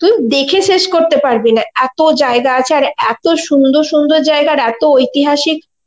তুই দেখে শেষ করতে পারবি না এত জায়গা আছে আর এত সুন্দর সুন্দর জায়গা আর এত ঐতিহাসিক